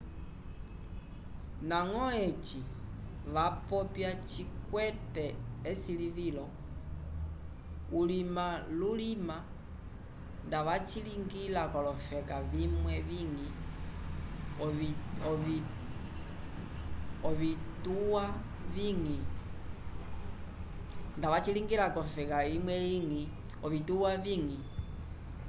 nagõ eci vapopya cikwete ecilivilo ulima lulima nda vacilinga colofeka vimwe vingi ovitwa vingi